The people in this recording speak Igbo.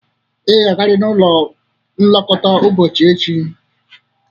Ị ga-agarịrị n'ụlọ nlekọta ụbọchị echi!